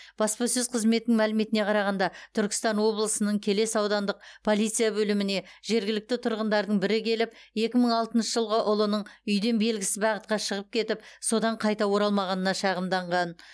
баспасөз қызметінің мәліметіне қарағанда түркістан облысының келес аудандық полиция бөліміне жергілікті тұрғындардың бірі келіп екі мың алтыншы жылғы ұлының үйден белгісіз бағытқа шығып кетіп содан қайта оралмағанына шағымданған